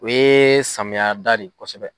O ye samiya da de ye kosɛbɛ.